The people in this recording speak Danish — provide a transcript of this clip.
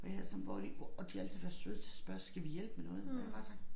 Og jeg sådan bare de og de har altid været søde til at spørge skal vi hjælpe med noget og jeg har bare sagt